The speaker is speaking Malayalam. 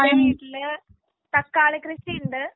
ആ എന്റെ വീട്ടില് തക്കാളി കൃഷി ഉണ്ട്